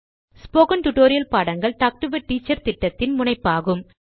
spoken tutorial பாடங்கள் talk to a teacher திட்டத்தின் முனைப்பாகும்